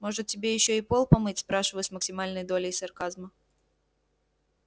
может тебе ещё и пол помыть спрашиваю с максимальной долей сарказма